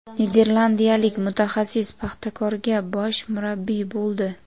Niderlandiyalik mutaxassis "Paxtakor"ga bosh murabbiy bo‘ldi.